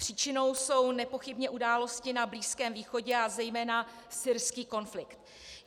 Příčinou jsou nepochybně události na Blízkém východě a zejména syrský konflikt.